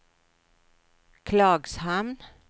Klagshamn